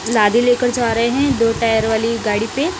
लादी लेकर जा रहे हैं दो टायर वाली गाड़ी पे।